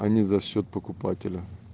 а не за счёт покупателя